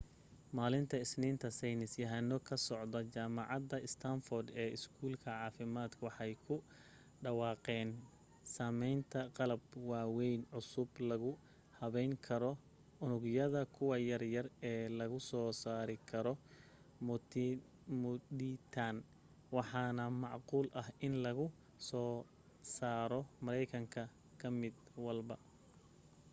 maalinta isniinta saynis yahano ka socda jamacada stanford ee iskuul caafimadka waxay ku dhawaaqeen sameynta qalab daweyn cusub lagu habeyn karo unugyada : kuwa yar yar ee lagu soo saari karo muditan waxaana macquul ah in lagu soo saro mareykan ka mid walba